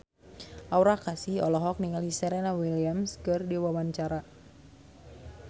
Aura Kasih olohok ningali Serena Williams keur diwawancara